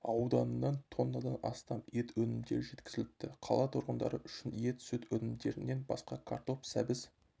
ауданынан тоннадан астам ет өнімдері жеткізіліпті қала тұрғындары үшін ет сүт өнімдерінен басқа картоп сәбіз